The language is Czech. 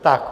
Tak.